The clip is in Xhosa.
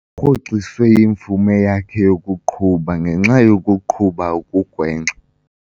Kurhoxiswe imvume yakhe yokuqhuba ngenxa yokuqhuba okugwenxa.